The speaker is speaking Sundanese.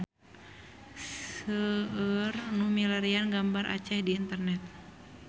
Seueur nu milarian gambar Aceh di internet